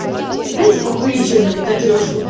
дайте покурить что-нибудь на трёшку бля